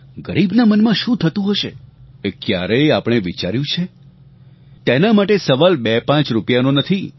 ગરીબના મનમાં શું થતું હશે એ ક્યારેય આપણે વિચાર્યું છે તેના માટે સવાલ બે પાંચ રૂપિયાનો નથી